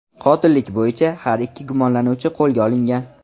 Qotillik bo‘yicha har ikki gumonlanuvchi qo‘lga olingan.